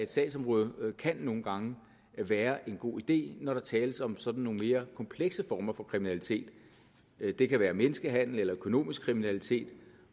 sagsområde kan nogle gange være en god idé når der tales om sådan nogle mere komplekse former for kriminalitet det kan være menneskehandel eller økonomisk kriminalitet